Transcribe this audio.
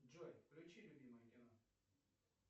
джой включи любимое кино